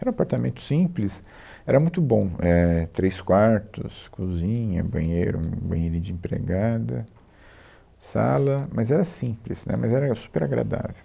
Era um apartamento simples, era muito bom, é, três quartos, cozinha, banheiro, um banheirinho de empregada, sala, mas era simples, né, mas era super agradável.